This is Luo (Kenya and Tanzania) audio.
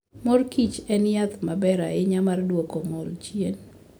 Mor Kichen yath maber ahinya mar duoko ng'ol chien.